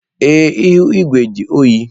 Ee, ihu igwe dị oyi.